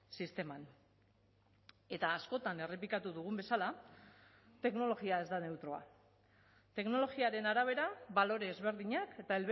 sisteman eta askotan errepikatu dugun bezala teknologia ez da neutroa teknologiaren arabera balore ezberdinak eta